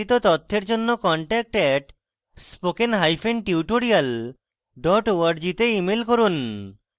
বিস্তারিত তথ্যের জন্য contact @spokentutorial org তে ইমেল করুন